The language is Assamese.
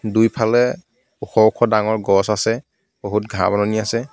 দুফালে ওখ ওখ ডাঙৰ গছ আছে বহুত ঘাঁহ বননি আছে.